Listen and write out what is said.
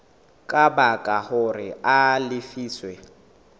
ka baka hore a lefiswe